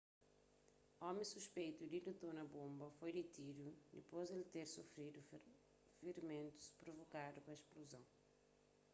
omi suspeitu di ditona bonba foi ditidu dipôs di el ter sufridu firimentus provokadu pa spluzon